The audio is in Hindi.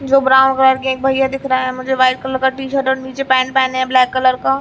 जो ब्राउन कलर के एक भैया दिख रहा है मुझे वाइट कलर का टी शर्ट और नीचे पेन्ट पहने हैं ब्लैक कलर का --